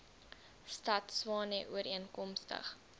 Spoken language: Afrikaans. stad tshwane ooreenkomstig